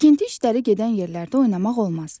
Tikinti işləri gedən yerlərdə oynamaq olmaz.